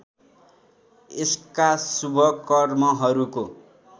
यसका शुभ कर्महरूको